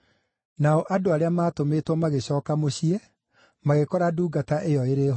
Nao andũ arĩa maatũmĩtwo magĩcooka mũciĩ magĩkora ngombo ĩyo ĩrĩ honu.